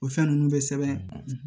O fɛn ninnu bɛ sɛbɛn